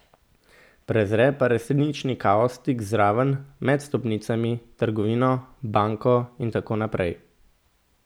Prezre pa resnični kaos tik zraven, med stolpnicami, trgovino, banko in tako naprej.